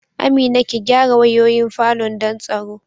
Amina, ki gyara wayoyin falon don tsaro